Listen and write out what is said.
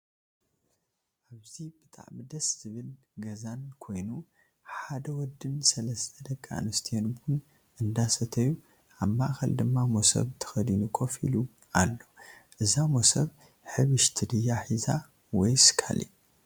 ኣብዚ ብጣዕሚ ደስ ዝበል ገዛን ኮይኑ ሓደ ወድን ሰላስተ ደቂ ኣንስትዮን ቡን እንዳሰተዩ ኣብ ማእከል ድማ ሞሰብ ተከዲኑ ኮፍ ኢሉ ኣሎ እዛ ማሰብ ሕብሽቲ ድያ ሒዛ ወይስ ካሊእ